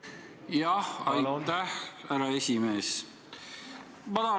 Jah, aitäh, härra esimees!